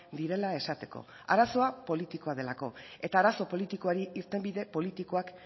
direla esateko arazoa politikoa delako eta arazo politikoei irtenbide politikoak